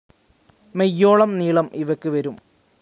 മെയ്യോളം നീളം ഇവയ്ക്ക് വരും.